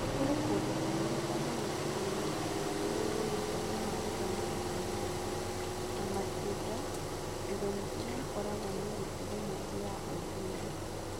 Kũrĩ kũndũ kũraihu andũ matirĩ na ũmenyo na bata wa gũthomithia airĩtu, na makĩria icigo-inĩ iria ikoragwo na mĩtugo mĩingĩ ya ũndũire.